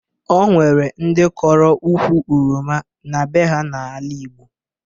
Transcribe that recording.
O nwere ndị kọrọ ukwu oroma na be ha n'ala Igbo